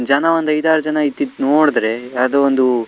ಜನ ಒಂದ್ ಐದ್ ಆರ್ ಜನ ಇದ್ದಿದ್ ನೋಡ್ರೆ ಯಾವ್ದೋ ಒಂದು--